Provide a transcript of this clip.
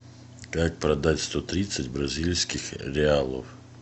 как продать сто тридцать бразильских реалов